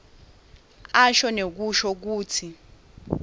asho nekusho kutsi